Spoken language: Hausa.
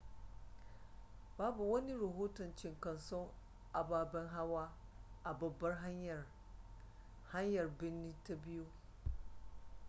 babu wani rahoton cinkoson ababen hawa a babbar hanyar hanyar birnin ta biyu